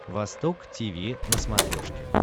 восток тиви на смотрешке